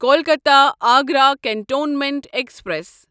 Kolkata Agra cantonment express